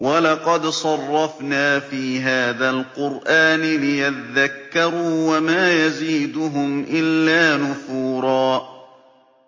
وَلَقَدْ صَرَّفْنَا فِي هَٰذَا الْقُرْآنِ لِيَذَّكَّرُوا وَمَا يَزِيدُهُمْ إِلَّا نُفُورًا